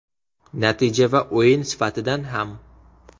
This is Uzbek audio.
Natija va o‘yin sifatidan ham.